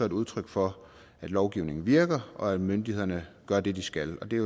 et udtryk for at lovgivningen virker og at myndighederne gør det de skal og det